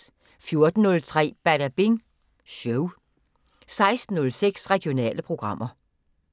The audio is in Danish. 14:03: Badabing Show 16:06: Regionale programmer